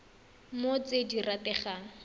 mo go tse di rategang